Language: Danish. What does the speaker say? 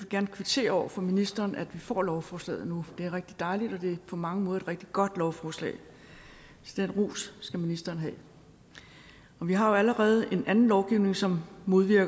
gerne kvittere over for ministeren for at vi får lovforslaget nu det er rigtig dejligt og det er på mange måder et rigtig godt lovforslag så den ros skal ministeren have vi har jo allerede en anden lovgivning som